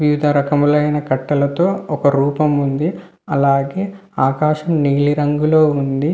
వివిధ రకములైన కట్టలతో ఒక రూపం ఉంది. అలాగే ఆకాశం నీలిరంగులో ఉంది.